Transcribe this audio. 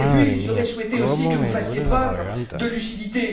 Puis, j'aurais souhaité, aussi, que vous fassiez preuve de lucidité.